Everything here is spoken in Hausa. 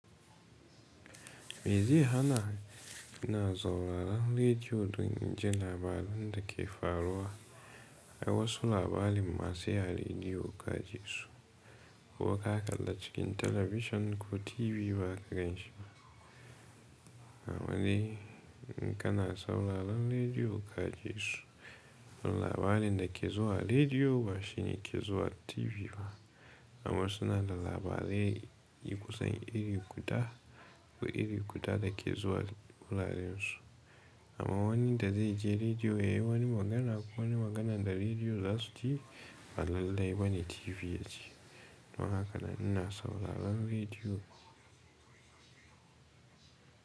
Me zai hana ina sauraran rediyo, don jin labaran da ke faruwa? Akwai wasu labari ma sai a rediyo ka ji su, ko ka kalla cikin talabishin ko TV ba ka ganshi ba. Amma dai in kana sauraran rediyo ka ji su. Labarin da ke zuwa rediyo, ba shine ke zuwa TV ba. Amma suna nada labarai, eh kusan iri guda, ko iri guda da ke zuwa wuraren su. Amma wan da zai je rediyo? Eh wani magana, ko wani magana da rediyo za su ji, ba lallai ba ne TV ya ji. Don haka ni ina sauraran rediyo.